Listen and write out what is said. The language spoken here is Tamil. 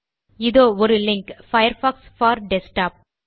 இதோ ஒரு லிங்க் பயர்ஃபாக்ஸ் போர் டெஸ்க்டாப்